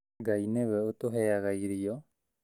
Ngai nĩwe ũtũheaga irio